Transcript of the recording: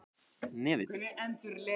Hnefill